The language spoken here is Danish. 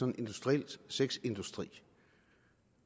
en industriel sexindustri